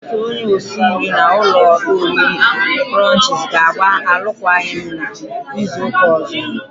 Otu osi nri na ụlọ oriri krọnchiz ga-agba arụkwagi m n'izu uka ozo.